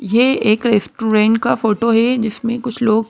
यह एक रेस्टुरेंट का फोटो है जिसमें कुछ लोग--